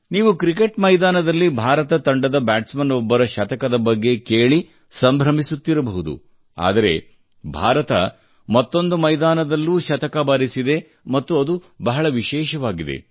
ನೀವು ಕ್ರಿಕೆಟ್ ಮೈದಾನದಲ್ಲಿ ಭಾರತ ತಂಡದ ಬ್ಯಾಟ್ಸ್ ಮನ್ ಒಬ್ಬರ ಶತಕದ ಬಗ್ಗೆ ಕೇಳಿ ಸಂಭ್ರಮಿಸುತ್ತಿರಬಹುದು ಆದರೆ ಭಾರತ ಮತ್ತೊಂದು ಮೈದಾನದಲ್ಲೂ ಶತಕ ಬಾರಿಸಿದೆ ಮತ್ತು ಅದು ಬಹಳ ವಿಶೇಷವಾಗಿದೆ